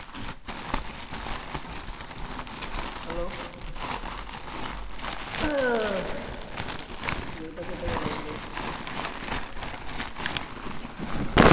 Hello টা কোতায় গেলো রে?